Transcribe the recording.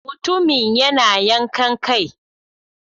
Mutumin yana yin yankan kai.